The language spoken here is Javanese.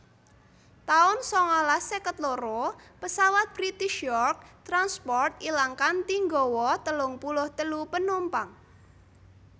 taun sangalas seket loro Pesawat British York transport ilang kanthi nggawa telung puluh telu penumpang